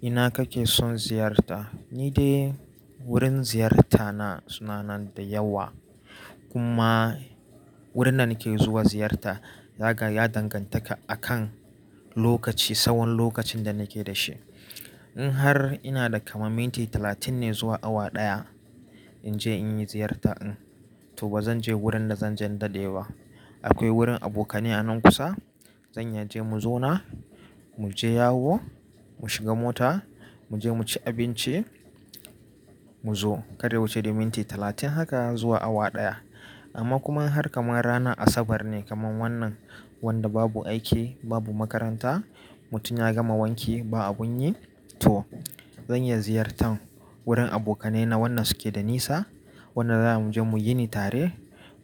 Ina kake son ziyarta? Ni dai wurin ziyarta na suna nan da yawa. Kuma wurin da nake zuwa ziyarta, yaga ya danganta akan lokaci, tsawon lokacin da nake da shi. In har ina da kamar minti talatin ne zuwa awa ɗaya, in je in yi ziyarta. To ba zan je wurin da zanje in dade ba. Akwai wurin abokanai a nan kusa. Zan iya je mu zauna, mu je yawo, mu shiga mota, mu je mu ci abinci, mu zo. Kada ya wuce dai minti talatin haka zuwa awa ɗaya. Amma kuma in har kamar ranar Asabar ne kamar wannan wanda babu aiki, babu makaranta, mutum ya gama wanki ba abun yi, to zan iya ziyartan wurin abokanai na wanda suke da nisa. Wanda za mu je mu yini tare,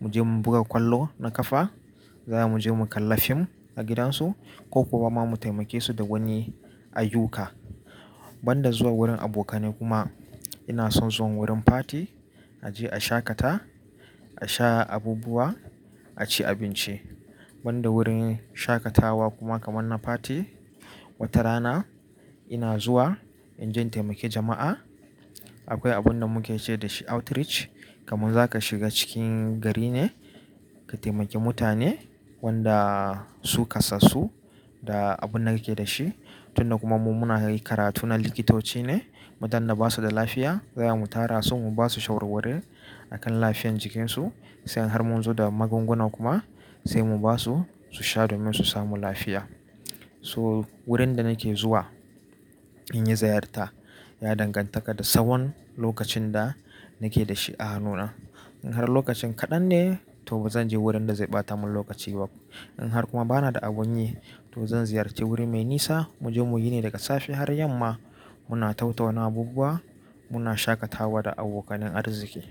mu je mu buga kwallo na ƙafa, za mu je mu kalla film a gidansu ko kuwa ma mu taimake su da wani ayyuka. Banda zuwa wurin abokanai kuma ina son zuwa wurin party. Aje a shaƙata, a sha abubuwa, a ci abinci. Banda wurin shaƙatawa kuma kamar na fati, wata rana ina zuwa in je taimake jama'a. Akwai abun da muke ce dashi outreach. Kamun zaka shiga cikin gari ne ka taimake mutane wanda su kasassu da abun da kake da shi. Tun da kuma mu muna yin karatu na likitoci ne, mutanen da basu da lafiya, za mu tara su, mu basu shawarwari akan lafiyan jikinsu, sai har mun zo da magunguna kuma sai mu basu su sha domin su samu lafiya. To wurin da nake zuwa in yi ziyarta ya dangantaka da tsawon lokacin da nake da shi a hannuna. In har lokacin kaɗan ne, to ba zan je wurin da zai ɓata mun lokaci ba. In har kuma bana da abun yi, to zan ziyarci wuri mai nisa. Mu je mu yini daga safe har yamma. Muna tattauna abubuwa, muna shaƙatawa da abokanin arziki.